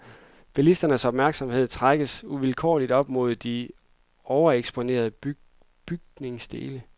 Bilisternes opmærksomhed trækkes uvilkårligt op mod de overeksponerede bygningsdele.